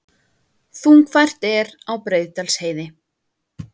Þungfært er á Breiðdalsheiði